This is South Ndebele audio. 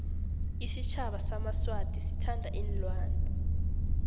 isitjhaba samaswati sithanda iinlwana